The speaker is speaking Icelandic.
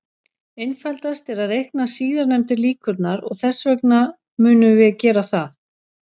Einfaldast er að reikna síðastnefndu líkurnar, og þess vegna munum við gera það.